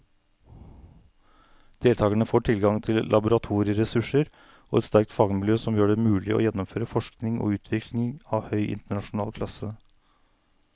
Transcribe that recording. Deltakerne får tilgang til laboratorieressurser og et sterkt fagmiljø som gjør det mulig å gjennomføre forskning og utvikling av høy internasjonal klasse.